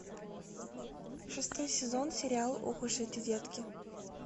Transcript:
шестой сезон сериал ох уж эти детки